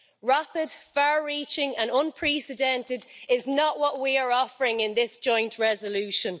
Rapid, far reaching and unprecedented is not what we are offering in this joint resolution.